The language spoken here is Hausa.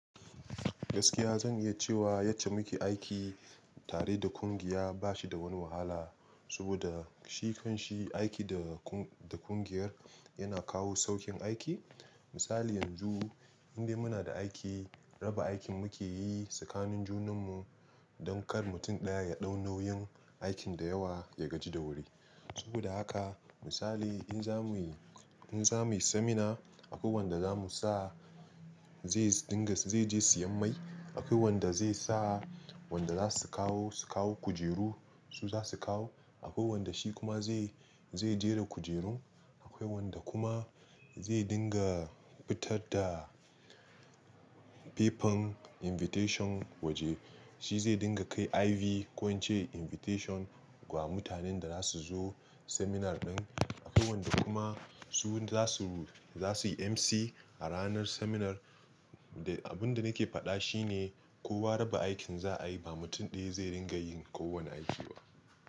Gaskiya zan iya cewa yacce muke aiki tare da ƙungiya bashi da wani wahala, saboda shi kanshi aiki da ƙungiyar yana kawo saukin aiki. Misali yanzu indai muna da aiki, raba aikin muke yi tsakanin junan mu don kar mutum ɗaya ya ɗau nauyin aikin da yawa ya gaji da wuri. Saboda haka misali in za muyi, in za muyi seminar akwai wanda za mu sa zai dinga zai je siyan mai, akwai wanda zai sa wanda za su kawo, su kawo kujeru su za su kawo, akwai wanda shi kuma zai, zai jera kujerun, akwai wanda kuma zai dinga fitar da papern invitation waje, shi zai dinga kai IV ko in ce invitation wa mutanen da za su zo seminar ɗin. Akwai wanda kuma su za su, za su yi MC a ranar seminar. Da abin da nake faɗa shi ne kowa raba aikin za a yi ba mutum ɗaya zai ringa yin kowane aiki ba.